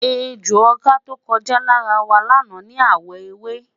ẹjọ ọkà tọko já lára wa lana ni awọ ewé